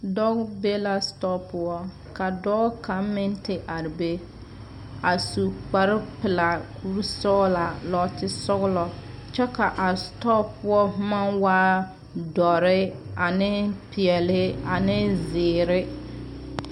Dɔɔ be la sitɔɔ poɔ ka dɔɔ kaŋa meŋ te are be a su kparre pelaa kuri sɔglaa nɔɔte sɔglɔ kyɛ kaa a sitɔɔ poɔ boma waa doɔre ane pɛɛle ane zeɛre.